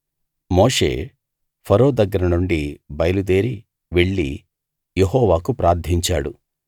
మోషే ఫరో దగ్గర నుండి బయలుదేరి వెళ్ళి యెహోవాకు ప్రార్ధించాడు